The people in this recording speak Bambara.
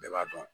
Bɛɛ b'a dɔn